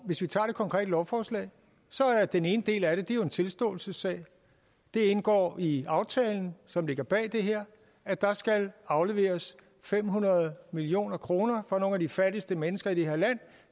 hvis vi tager det konkrete lovforslag er den ene del af det jo en tilståelsessag det indgår i aftalen som ligger bag det her at der skal afleveres fem hundrede million kroner fra nogle af de fattigste mennesker i